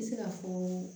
I bɛ se ka fɔ